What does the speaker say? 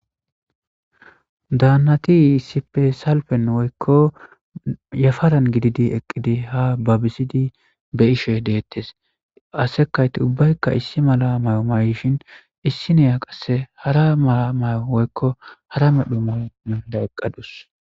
daannatiisipe salpen woykko yafaran gididi eqqidi ha babbisidi beyishe deettes ase kayti ubbaykka issi mala may7o mayshin issi neya qasse hara mala may7o woykko hara medhu mao minda eqqadus